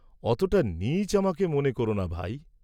অতটা নীচ আমাকে মনে কোর না ভাই।